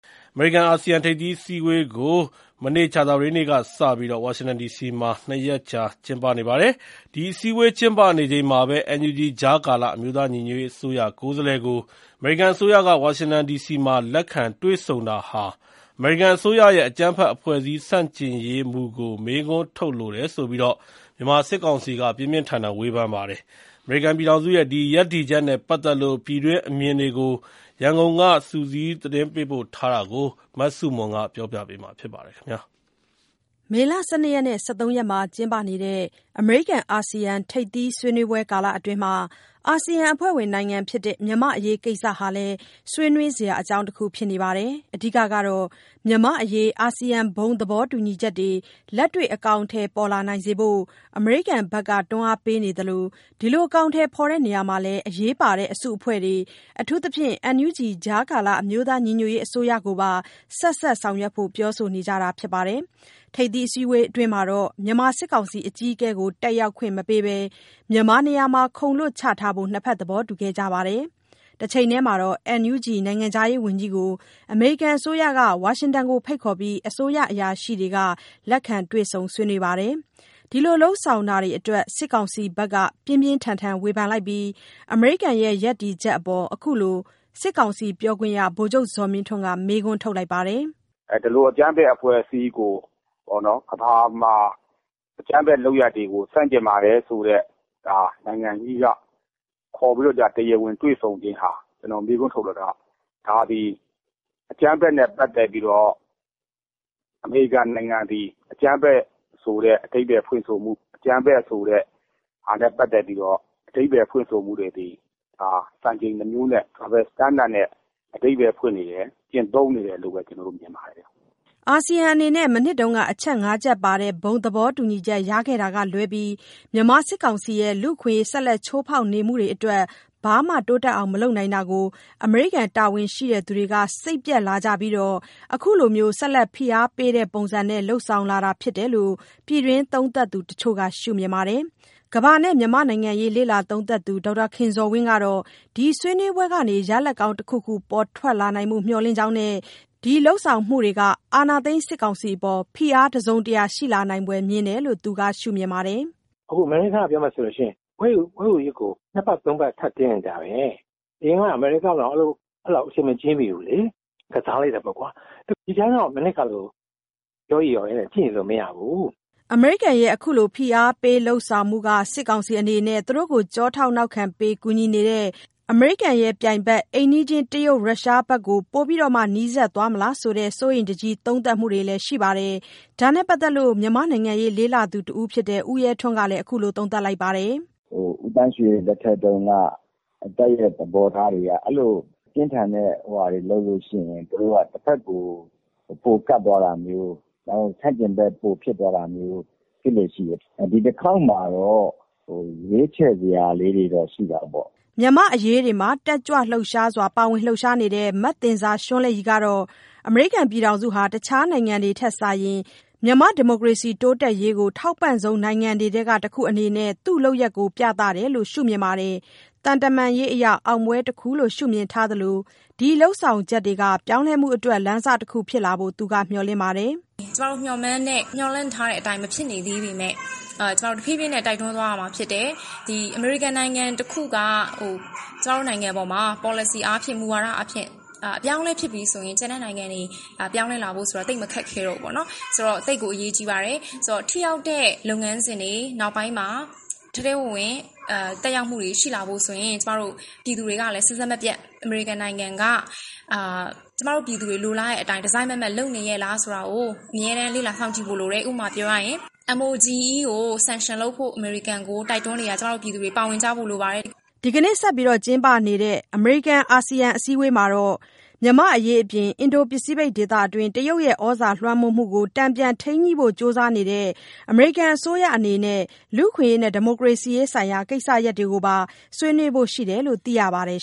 အမေရိကန် - အာဆီယံ ထိပ်သီးအစည်းအဝေးကိုပြီးခဲ့တဲ့ ကြာသပတေးနေ့မှာ ဝါရှင်တန်ဒီစီမှာကျင်းပနေပါတယ်။ ဒီအစည်းအဝေးကျင်းပနေချိန်မှာပဲ NUG ကြားကာလအမျိုးသားညီညွတ်ရေးအစိုးရကိုယ်စားလှယ်ကို အမေရိကန်အစိုးရက ဝါရှင်တန်ဒီစီမှာ လက်ခံတွေ့ဆုံတာဟာ အကြမ်းဖက်အဖွဲ့အစည်းဆန့်ကျင်ရေး အမေရိကန်အစိုးရရဲ့မူဝါဒကို မေးခွန်းထုတ်လိုတယ်ဆိုပြီး မြန်မာစစ်ကောင်စီက ပြင်းပြင်းထန်ထန် ဝေဖန်ခဲ့ပါတယ်။ အမေရိကန်ပြည်ထောင်စုရဲ့ ဒီရပ်တည်ချက်နဲ့ပတ်သက်လို့ ပြည်တွင်းအမြင်တွေကို ရန်ကုန်က စုစည်းသတင်းပေးပို့တာကို မဆုမွန်က တင်ပြပေးထားပါတယ်။ မေလ ၁၂-၁၃ မှာ ကျင်းပနေတဲ့ အမေရိကန်-အာဆီယံထိပ်သီးဆွေးနွေးပွဲကာလအတွင်းမှာ အာဆီယံအဖွဲ့ဝင်နိုင်ငံဖြစ်တဲ့မြန်မာ့အရေးကိစ္စဟာလည်း ဆွေးနွေးစရာအကြောင်းတခုဖြစ်နေပါတယ်။ အဓိကကတေ့ာ့ မြန်မာ့အရေး အာဆီယံဘုံသဘောတူညီချက်တွေ လက်တွေ့အကောင်အထည်ပေါ်လာစေဖို့ အမေရိကန်ဘက်က တွန်းအားပေးနေသလို ဒီလို အကောင်အထည်ဖော်တဲ့နေရာမှာ အရေးပါတဲ့အစုအဖွဲ့တွေ အထူးသဖြင့် NUG ကြားကာလ အမျိုးသားညီညွတ်ရေးအစိုးရကိုပါ ဆက်စပ်ဆောင်ရွက်ဖို့ ပြောဆိုနေကြတာပါ။ ထိပ်သီးအစည်းအဝေးအတွင်းမှာတော့ မြန်မာစစ်ကောင်စီအကြီးအကဲကို တတ်ရောက်ခွင့်မပေးဘဲ မြန်မာနေရာမှာ ခုံလွတ်ချထားဖို့ နှစ်ဘက် သဘောတူခဲ့ကြပါတယ်။ တချိန်တည်းမှာတော့ NUG နိုင်ငံခြားရေးဝန်ကြီးကို အမေရိကန်အစိုးရက ဝါရှင်တန်မှာဖိတ်ခေါ်ပြီး အစိုးရအရာရှိတွေက လက်ခံတွေ့ဆုံဆွေးနွေးပါတယ်။ ဒီလိုလုပ်ဆောင်တာတွေအတွက် စစ်ကောင်စီဘက်က ပြင်းပြင်းထန်ထန်ဝေဖန်လိုက်ပြီး အမေရိကန်ရဲ့ ရပ်တည်ချက် အပေါ် အခုလို စစ်ကောင်စီပြောခွင့်ရ ဗိုလ်ချုပ်ဇော်မင်းထွန်းကမေးခွန်းထုတ်လိုက်ပါတယ်။ “ဒီလိုအကြမ်းဖက်အဖွဲ့အစည်းကို ကမ္ဘာမှာ အကြမ်းဖက်လုပ်ရပ်တွေကိုဆန့်ကျင်ပါတယ်ဆိုတဲ့ အမေရိကန်က ခေါ်ပြီးတွေ့တာကို ကျနော်မေးခွန်းထုတ်လိုတာက ဒါသည် အကြမ်းဖက်နဲ့ပတ်သက်ပြီးတော့ အမေရိကန်နိုင်ငံသည် အကြမ်းဖက် ဆိုတဲ့အဓိပ္ပါယ်ဖွင့်ဆိုမှု၊ အကြမ်းဖက်ဆိုတဲ့ဖွင့်ဆိုမှုတွေသည် စံချိန်နှစ်မျိုးနဲ့ double standard နဲ့အဓိပ္ပါယ်ဖွင့် နေတယ်၊ ကျင့်သုံးနေတယ်လို့ပဲ ကျနော်တို့ မြင်ပါတယ်။” အာဆီယံအနေနဲ့ မနှစ်က အချက် ၅ ချက်ပါ ဘုံသဘောတူညီချက်ရခဲ့တာကလွဲပြီး မြန်မာစစ်ကောင်စီရဲ့ လူ့အခွင့်ရေး ဆက်လက်ချိုးဖေါက်နေမှုတွေ အတွက် ဘာမှတိုးတက်အောင်မလုပ်နိုင်တာကို အမေရိကန် တာဝန်ရှိသူတွေက စိတ်ပျက်လာကြပြီးနောက် အခုလိုဆက်လက်ဖိအားပေးတဲ့ ပုံစံနဲ့ လုပ်ဆောင်လာတာဖြစ်တယ်လို့ ပြည်တွင်းသုံးသပ်သူတချို့က မြင်ပါတယ်။ ကမ္ဘာနဲ့မြန်မာ့နိုင်ငံရေးလေ့လာသုံးသပ်သူ ဒေါက်တာခင်ဇော်ဝင်းကတော့ ဒီဆွေးနွေးပွဲကနေ ရလဒ်ကောင်း တခုခု ပေါ်ထွက်လာနိုင်ဖို့ မျှော်လင့်ကြောင်းနဲ့ ဒီလုပ်ဆောင်မှုတွေက အာဏာသိမ်းစစ်ကောင်စီအပေါ်ဖိအားတစုံ တရာရှိလာနိုင်ဖွယ်မြင်တယ်လို့ သူကရှုမြင်ပါတယ်။ “အခု အမေရိကားက ပြောမယ်ဆိုလို့ရှိရင် ခွဲဝေရေးကို နှစ်ပတ်၊ သုံးပတ် ထပ်တင်းနေတာပဲ။ အရင်တုန်းက အမေရိကားကို အဲလောက်....ဘူးလေ။ ကစားလိုက်တာပေါ့ကွာ။....” အမေရိကန်ရဲ့ အခုလိုဖိအားပေးလုပ်ဆောင်မှုက စစ်ကောင်စီအနေနဲ့ သူတို့ကိုကျောထောင့်နောက်ခံပေးကူညီ နေတဲ့ အမေရိကန်ရဲ့ ပြိုင်ဘက် အိမ်နီးချင်းတရုတ်၊ ရုရှားဘက်ကိုပိုပြီး နီးစပ်သွားမလားဆိုတဲ့ စိုးရိမ်တကြီး သုံးသပ်မှုတွေလည်းရှိပါတယ်။ ဒါနဲ့ပတ်သတ်လို့ မြန်မာ့နိုင်ငံရေးလေ့ လာသုံးသပ်သူတဦး ဖြစ်တဲ့ ဦးရဲထွန်းကတော့ အခုလိုသုံးသပ်လိုက်ပါတယ်။ “ဦးသန်းရွှေလက်ထက်ထဲက တပ်သဘောထားက သူ့ကိုပြင်းထန်တဲ့ဟာတွေလုပ်ရင် တဘက်ကို ပိုကပ်တာမျိုး ဆန့်ကျင်ဘက်ပိုဖြစ်တာမျိုး ဖြစ်လေ့ရှိတတ်တယ်။ ဒီတခေါက်မှာတော့ ရွေးချယ် စရာလေးတွေရှိတာပေါ့။” မြန်မာ့အရေးတွေမှာ တက်ကြွလှုပ်ရှားစွာပါဝင်လှုပ်ရှားနေတဲ့ မသဉ္ဇာရွှန်းလဲ့ရည်ကတော့ အမေရိကန်နိုင်ငံဟာ တခြားနိုင်ငံတွေထက်စာရင် မြန်မာ့ဒီမိုကရေစီတိုးတက်ရေးကို ထောက်ပံ့ဆုံးနိုင်ငံတွေထဲကတခုအနေနဲ့ သူ့လုပ်ရပ်ကိုပြသတယ်လို့ သူကရှုမြင်ပါတယ်။ သံတမန်ရေးအရ အောင်ပွဲတခုလို့ ရှုမြင်ထားသလို ဒီလုပ်ဆောင်ချက်တွေ ကပြောင်းလဲမှုလမ်းစတခုဖြစ်လာဖို့ သူကမျှော်လင့်နေပါတယ်။ “ကျမတို့ မျှော်လင့်သလိုမဖြစ်သေးပေမယ့် တဖြေးဖြေးနဲ့ တိုက်တွန်းသွားရမှာဖြစ်တယ်။ အမေရိကန်နိုင်ငံတခုက ကျမတို့နိုင်ငံပေါ်မှာ ပေါ်လစီမူဝါဒအားဖြင့် အပြောင်းအလဲဖြစ်ရင် ကျန်တဲ့နိုင်ငံတွေ ပြောင်းလဲနိုင်ဖို့သိပ်မခက်တော့ဘူးပေါ့။ ဆိုတော့ သိပ်ကို အရေးကြီးပါတယ်။ ထိရောက်တဲ့လုပ်ငန်းစဉ်တွေ နောက်ပိုင်းမှာ ထဲထဲဝင်ဝင် သက်ရောက်မှုရှိလာဖို့ဆိုရင် ကျမတို့ ပြည်သူတွေကလည်း အမေရိကန်နိုင်ငံက ကျမတို့ပြည်သူတွေ လိုချင်တာကို တစိုက်မတ်မတ်လုပ်နေရဲ့လားဆိုတာကို အမြဲတမ်းလေ့လာစောင့်ကြည့်ဖို့လိုတယ်။ ဥပမာပြောရရင် MOGE ကို sanction လုပ်ဖို့ တိုက်တွန်းနေတာကို ကျမတို့ပြည်သူတွေ ပါဝင်ဖို့ လိုပါတယ်။” ဒီကနေ့ဆက်လုပ်နေတဲ့ အစည်းအဝေးမှာတော့ အမေရိကန် -အာဆီယံ အစည်းဝေးမှာ မြန်မာ့အရေး အပြင် အင်ဒို- ပစိဖိတ်ဒေသတွင်း တရုတ်ရဲ့ သြဇာလွှမ်းမိုးမှု ကို တန်ပြန်ထိန်းညှိဖို့ ကြိုးစားနေတဲ့ အမေရိကန်အစိုးရအနေနဲ့ လူ့အခွင့်ရေးနဲ့ ဒီမိုကရေစီရေး ဆိုင်ရာကိစ္စရပ်တွေကိုပါ ဆွေးနွေးဖို့ရှိတယ်လို့ သိရပါတယ်